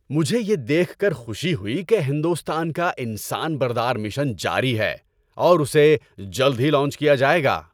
مجھے یہ دیکھ کر خوشی ہوئی کہ ہندوستان کا انسان بردار مشن جاری ہے اور اسے جلد ہی لانچ کیا جائے گا۔